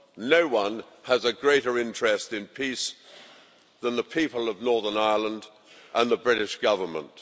No⁰one has a greater interest in peace than the people of Northern Ireland and the British Government.